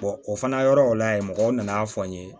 o fana yɔrɔ o la yen mɔgɔw nana fɔ n ye